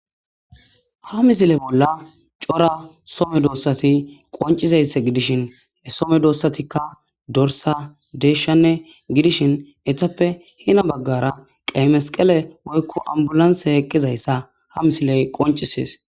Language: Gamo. ha misile bolla cora some doossati qoncizayssa gidishin some doossatikka dorsa deeshshanne gidishin ethappe hina baggara qeemesqele moykko ambulanse eqqizayssa ha misiley qoncisees